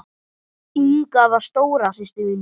Inga var stóra systir mín.